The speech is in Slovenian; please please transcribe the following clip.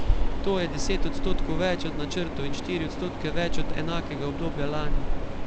To je deset odstotkov več od načrtov in štiri odstotke več od enakega obdobja lani.